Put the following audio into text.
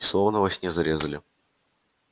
и словно во сне зарезали вот что страшно-то